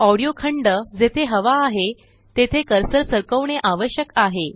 audio खंड जेथे हवा आहेतेथे कर्सर सरकवणे आवश्यक आहे